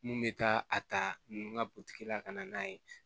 Mun bɛ taa a ta ninnu ka la ka na n'a ye